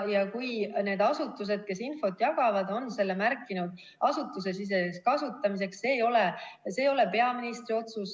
Kui need asutused, kes infot jagavad, on selle märkinud asutusesiseseks kasutamiseks, siis see ei ole peaministri otsus.